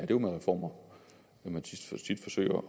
jo med reformer at man tit forsøger